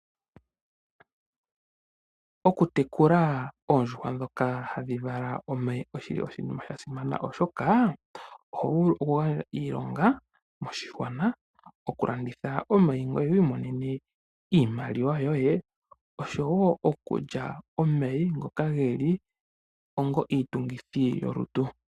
Oku tekula oondjuhwa ndhoka hadhi vala omayi oshinima sha simana, oshoka oho vulu okugandja iilonga moshigwana, okulanditha omayi ngoye wi imonene iimaliwa yoye oshowo okulya omayi ngoka ge li onga iitungithi yolutu.